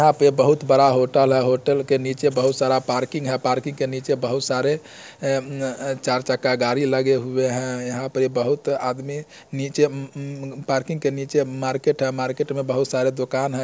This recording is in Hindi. यहाँ पे बहुत बड़ा होटल है होटल के नीचे बहत सारा पार्किंग है पार्किंग के नीचे बहुत सारे ए ए चार चक्का गाड़ी लगे हुए हैं यहाँं पे बहुत आदमी नीचे उम्म उम्म पार्किंग के नीचे मार्केट हैं मार्केट में बहुत सारा दोकान हैं।